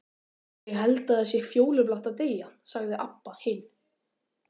Ég held það sé fjólublátt að deyja, sagði Abba hin.